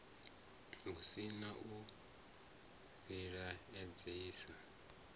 hu si na u vhilaedzisa